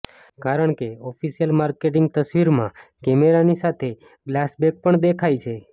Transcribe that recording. કારણકે official marketing તસવીરમાં કેમેરાની સાથે ગ્લાસ બેક પણ દેખાય છે